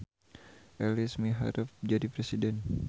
Elis miharep jadi presiden